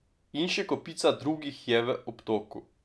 In še kopica drugih je v obtoku.